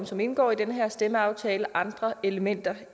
som indgår i den her stemmeaftale andre elementer